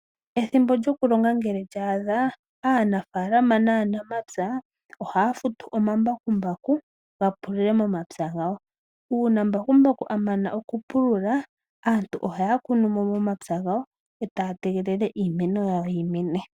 Ethimbo lyokulonga ngele lya adha aanafalama naanamapya ohaya futu omambakumbaku ga pulule momapya gawo. Uuna mbakumbaku a mana okupulula aantu ohaya kunumo momapya gawo etaya tegelele iimeno yawo yimene.